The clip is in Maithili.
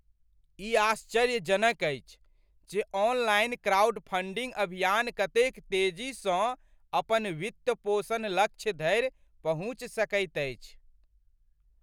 ई आश्चर्यजनक अछि जे ऑनलाइन क्राउडफंडिंग अभियान कतेक तेजीसँ अपन वित्तपोषण लक्ष्य धरि पहुँचि सकैत अछि।